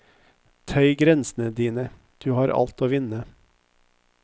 Tøy grensene dine, du har alt å vinne.